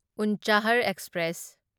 Unchahar express